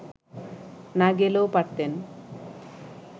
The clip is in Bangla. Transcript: না গেলেও পারতেন